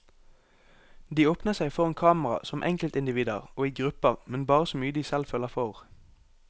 De åpner seg foran kamera som enkeltindivider og i grupper, men bare så mye de selv føler for.